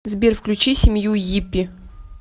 сбер включи семью йиппи